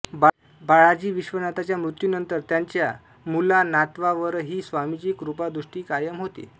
बाळाजी विश्वनाथांच्या मृत्यूनंतर त्यांच्या मुलांनातवांवरही स्वामींची कृपादृष्टी कायम होती